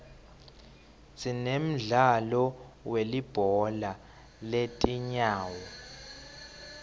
sinemdlalo welibhola letinyawo